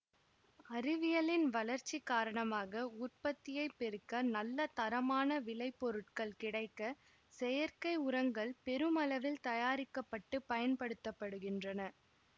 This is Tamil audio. அறிவியலின் வளர்ச்சி காரணமாக உற்பத்தியை பெருக்க நல்ல தரமான விளைபொருட்கள் கிடைக்க செயற்கை உரங்கள் பெருமளவில் தயாரிக்க பட்டு பயன்படுத்த படுகின்றன